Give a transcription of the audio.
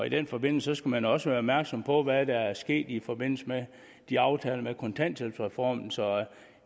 i den forbindelse skal man også være opmærksom på hvad der er sket i forbindelse med de aftaler om kontanthjælpsreformen så i